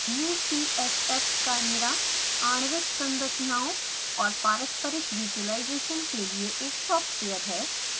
ucsf chimera आणविक संरचनाओं और पारस्परिक विज़ुलाइज़ेशन के लिए एक सॉफ्टवेर है